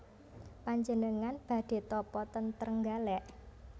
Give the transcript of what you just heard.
Panjenengan badhe tapa ten Trenggalek?